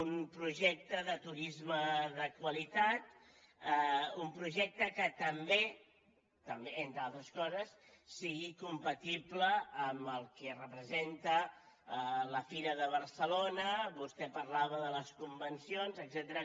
un projecte de turisme de qualitat un projecte que també entre altres coses sigui compatible amb el que representa la fira de barcelona vostè parlava de les convencions etcètera